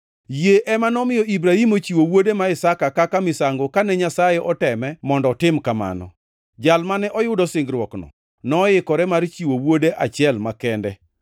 Yie ema nomiyo Ibrahim ochiwo wuode ma Isaka kaka misango kane Nyasaye oteme mondo otim kamano. Jal mane oyudo singruokno noikore mar chiwo wuode achiel makende,